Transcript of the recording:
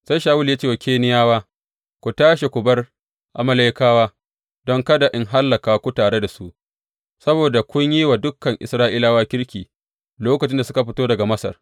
Sai Shawulu ya ce wa Keniyawa, Ku tashi ku bar Amalekawa don kada in hallaka ku tare da su, saboda kun yi wa dukan Isra’ilawa kirki, lokacin da suka fito daga Masar.